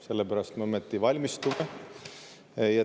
Sellepärast me ka ometi valmistume.